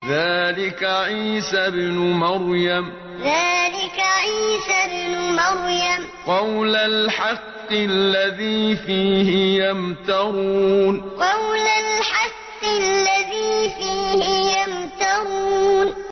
ذَٰلِكَ عِيسَى ابْنُ مَرْيَمَ ۚ قَوْلَ الْحَقِّ الَّذِي فِيهِ يَمْتَرُونَ ذَٰلِكَ عِيسَى ابْنُ مَرْيَمَ ۚ قَوْلَ الْحَقِّ الَّذِي فِيهِ يَمْتَرُونَ